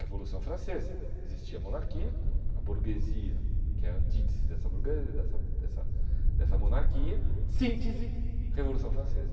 Revolução Francesa, existia a monarquia, a burguesia, que é a antítese dessa burgue dessa dessa dessa monarquia, síntese, Revolução Francesa.